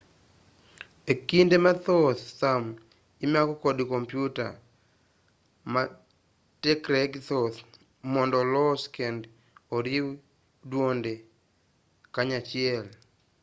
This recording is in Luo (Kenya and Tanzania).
e kinde mathoth thum imako kod kopyuta ma tekregi thoth mondo olosi kendo oriw dwonde kanyachiel